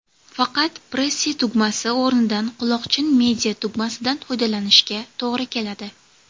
Faqat, Pressy tugmasi o‘rnida quloqchin media–tugmasidan foydalanishga to‘g‘ri keladi.